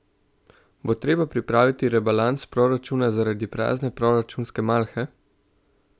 Bo treba pripraviti rebalans proračuna zaradi prazne proračunske malhe?